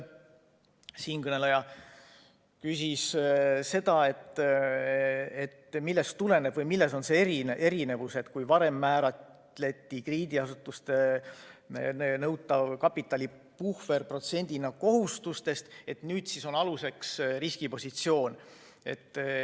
Siinkõneleja küsis, millest tuleneb see erinevus, et varem määrati krediidiasutustelt nõutav kapitalipuhver kindlaks protsendina kohustustest, aga nüüd võetakse aluseks riskipositsioon.